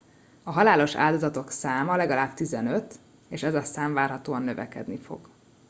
a halálos áldozatok száma legalább 15 és ez a szám várhatóan növekedni fog